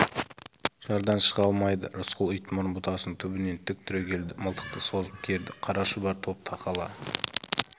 жардан шыға алмайды рысқұл итмұрын бұтасының түбінен тік түрегелді мылтықты созып керді қара шұбар топ тақала